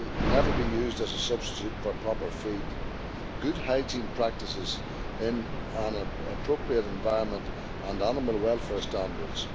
never be used as a substitute for proper feed, good hygiene practices in an appropriate environment and animal welfare standards.